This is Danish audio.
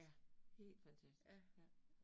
Ja, helt fantastisk ja